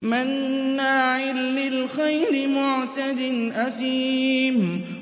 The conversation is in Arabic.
مَّنَّاعٍ لِّلْخَيْرِ مُعْتَدٍ أَثِيمٍ